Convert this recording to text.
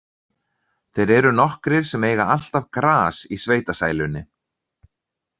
Þeir eru nokkrir sem eiga alltaf gras í sveitasælunni.